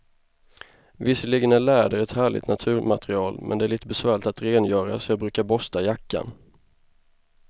Visserligen är läder ett härligt naturmaterial, men det är lite besvärligt att rengöra, så jag brukar borsta jackan.